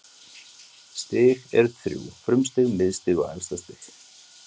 Stig eru þrjú: frumstig, miðstig og efstastig.